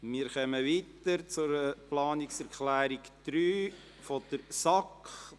Wir kommen nun zur Planungserklärung 3 der SAK.